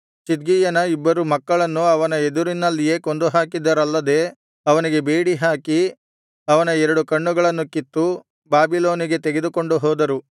ಚಿದ್ಕೀಯನ ಇಬ್ಬರು ಮಕ್ಕಳನ್ನು ಅವನ ಎದುರಿನಲ್ಲಿಯೇ ಕೊಂದುಹಾಕಿದರಲ್ಲದೆ ಅವನಿಗೆ ಬೇಡಿಹಾಕಿ ಅವನ ಎರಡು ಕಣ್ಣುಗಳನ್ನು ಕಿತ್ತು ಬಾಬಿಲೋನಿಗೆ ತೆಗೆದುಕೊಂಡು ಹೋದರು